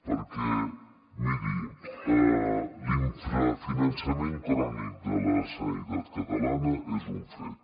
perquè miri l’infrafinançament crònic de la sanitat catalana és un fet